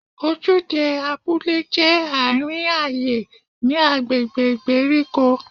Ojúde abúlé jẹ́ àárín ayé ní agbègbè ìgbèríko.